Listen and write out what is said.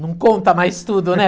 Não conta mais tudo, né?